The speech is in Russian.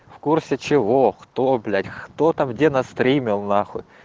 в курсы чего кто блять кто там где на стремел нахуй